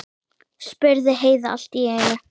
spurði Heiða allt í einu.